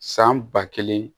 San ba kelen